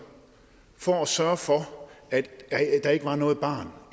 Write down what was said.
for at sørge for at der ikke var noget barn